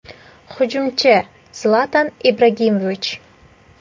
Hujumchi : Zlatan Ibragimovich.